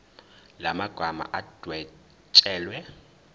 la magama adwetshelwe